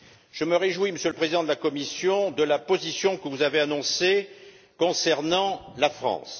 Je me réjouis, Monsieur le Président de la Commission, de la position que vous avez annoncée concernant la France.